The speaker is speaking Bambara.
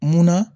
Munna